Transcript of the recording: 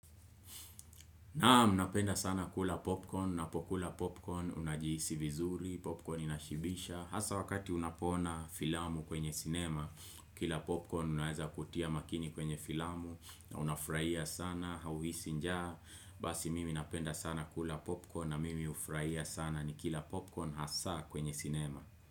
Naam napenda sana kula popcorn, napokula popcorn unajiisi vizuri, popcorn inashibisha hasa wakati unapona filamu kwenye sinema, kila popcorn unaweza kutia makini kwenye filamu unafurahia sana, hauhisi njaa, basi mimi napenda sana kula popcorn na mimi hufurahia sana ni kila popcorn hasa kwenye sinema.